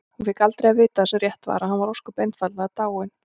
Hún fékk aldrei að vita það sem rétt var: að hann væri ósköp einfaldlega dáinn.